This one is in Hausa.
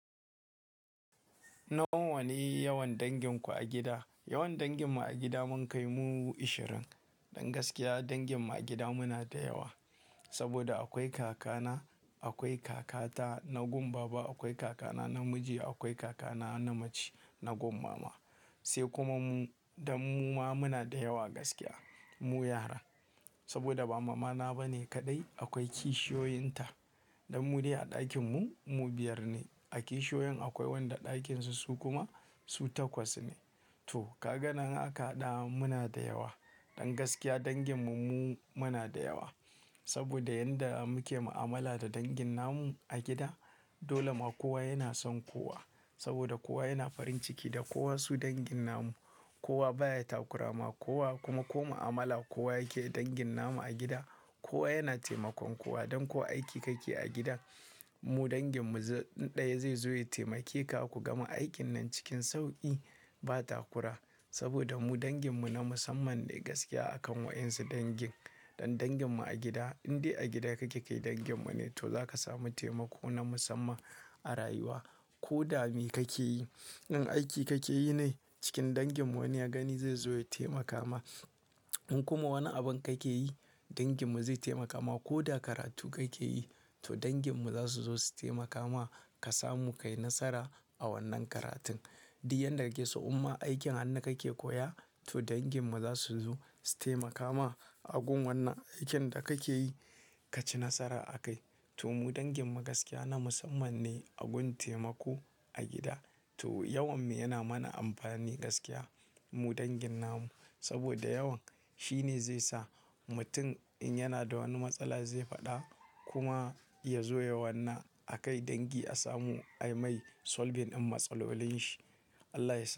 Nawa ne yawan danginku a gida? Yawan danginmu a gida mun kai mu ashirin. Don gaskiya danginmu a gida muna da yawa. Saboda akwai kakana, akwai kakata na gun baba, akwai kakana namiji, akwai kakana namace na gun mama. Sai kuma mu, danmu ma muna da yawa gaskiya mu yara. Saboda ba mamana ba ne kaɗai, akwai kishiyoyinta. Dan mu dai a ɗakinmu, mu biyar ne. A kishiyoyin akwai wanda ɗakin su su kuma su takwas ne. To kaganan haka ɗa muna da yawa. Don gaskiya danginmu mu muna da yawa. Saboda yanda muke ma'amala da dangin namu a gida, dole ma kowa yana son kowa. Saboda kowa yana farin ciki da kowa su dangin namu. Kowa ba ya takurama kowa kuma ko mu'amala kowa yake dangin nama a gida, kowa yana taimakon kowa. Dan ko aiki kake a gidan, mu danginmu zai ɗaya zai zo ya taimake ka ku gama aikin nan cikin sauƙi, ba takura. Saboda mu danginmu na musamman ne gaskiya a kan wa'yansu dangin. Dan danginmu a gida, in dai a gida kake kai danginmu ne, to za ka samu taimako na musamman a rayuwa. Ko dame kake yi. In aiki kake yi ne, cikin danginmu wani ya gani zai zo ya taimaka ma. In kuma wani abin kake yi, danginmu zai taimaka ma. Ko da karatu kake yi, to danginmu za su zo su taimaka ma ka samu ka yi nasara a wannan karatun. Di yanda kika so umma aikin hannu kake koya, to danginmu za su zo su taimaka ma a gun wannan aikin da kake yi ka ci nasara a kai. To mu danginmu gaskiya na musamman ne a gun taimako a gida. To yawan mu yana mana amfani gaskiya mu dangin namu. Saboda yawan shi ne zai sa mutum in yana da wani matsala zai faɗa kuma ya zo yawanna a kai dangi a samu ai mai solbin in matsalolin shi. Allah ya sau-